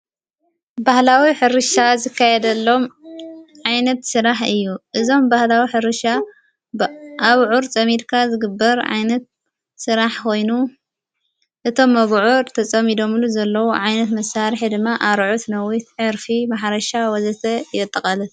ባህላዊ ሕርሻ ዝካየደሎም ዓይነት ሥራሕ እዩ እዞም ባህላዊ ሕርሻ ኣብዑር ጸሚድካ ዝግበር ዓይነት ሥራሕ ኾይኑ እቶም ኣብዑር ተጸሚዶምሉ ዘለዉ ዓይነት መሣሪሕ ድማ ኣርዑት ፣ነዊት ፣ዕርፊ ፣ማሕረሻ ወዘተ የጠቐለል።